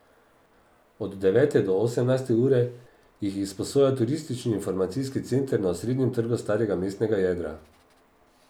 Od devete do osemnajste ure jih izposoja Turistični informacijski center na osrednjem trgu starega mestnega jedra.